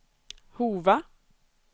Hova